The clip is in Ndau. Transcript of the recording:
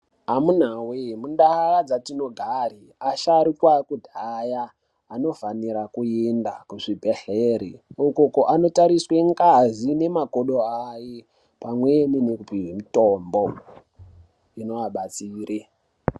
Amuna wee mundau dzatino gare asharuka ekudhaya ano fanira ku enda ku zvibhedhleri uko ano tariswe ngazi ne makodo aye pamweni neku pihwe mitombo inova batsire.